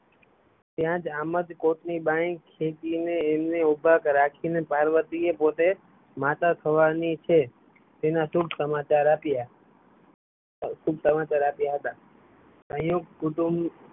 ત્યાં જ આમજ કોટ ની બાય ખેંચી ને એમને ઊભા રાખી ને પાર્વતી એ પોતે માતા થવાની છે તેના શુભ સમાચાર આપ્યા હતાં સંયુક્ત કુટુંબ